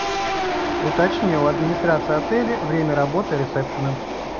уточни у администрации отеля время работы ресепшена